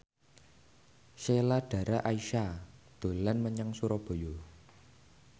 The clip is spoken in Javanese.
Sheila Dara Aisha dolan menyang Surabaya